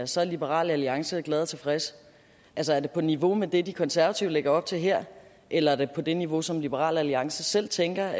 så er liberal alliance glad og tilfreds altså er det på niveau med det de konservative lægger op til her eller er det på det niveau som liberal alliance selv tænker